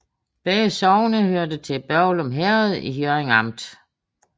Begge sogne hørte til Børglum Herred i Hjørring Amt